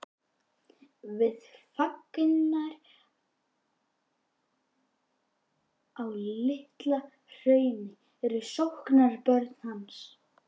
Við fangarnir á Litla-Hrauni erum sóknarbörn hans.